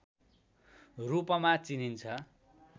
रूपमा चिनिन्छ